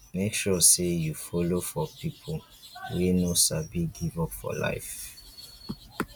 mek sure say yu follow for pipo wey no sabi give up for life